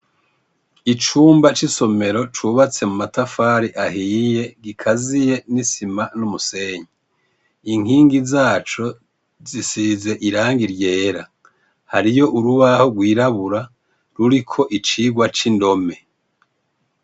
Icumba c'isomero cubatse mu matafari ahiye gikaziye n'isima n'umusenyi. Inkingi zaco zisize irangi ryera. hariyo urubaho rwirabura ruriko icigwa c'indome.